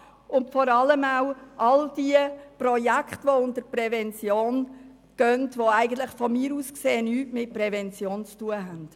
Und vor allem möchten wir eine Bestandsaufnahme der Projekte, die unter den Begriff «Prävention» fallen und aus meiner Sicht nichts mit Prävention zu tun haben.